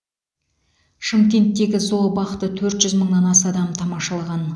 шымкенттегі зообақты төрт жүз мыңнан аса адам тамашалаған